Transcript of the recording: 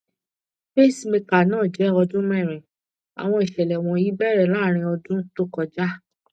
pacemaker náà jẹ ọdún merin àwọn ìṣẹlẹ wọnyí bẹrẹ láàrin ọdún tó kọjá